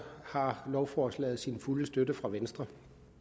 har lovforslaget sin fulde støtte fra venstre